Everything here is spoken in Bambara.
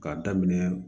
K'a daminɛ